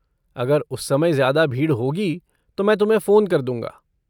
अगर उस समय ज्यादा भीड़ होगी तो मैं तुम्हें फ़ोन कर दूंगा।